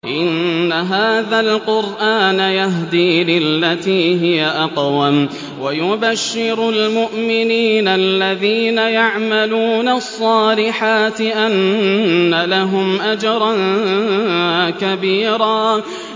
إِنَّ هَٰذَا الْقُرْآنَ يَهْدِي لِلَّتِي هِيَ أَقْوَمُ وَيُبَشِّرُ الْمُؤْمِنِينَ الَّذِينَ يَعْمَلُونَ الصَّالِحَاتِ أَنَّ لَهُمْ أَجْرًا كَبِيرًا